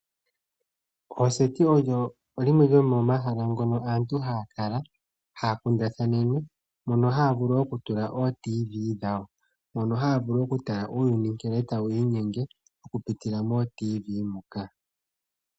Oseti olyo limwe lyomomahala mono aantu haya kala noha ya kundathana. Mono haya vulu woo okutala oradio yomu zizimbe hono haya vulu oku tala nkene uuyuni tawu inyenge.